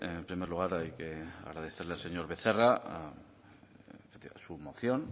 en primer lugar hay que agradecerle al señor becerra su moción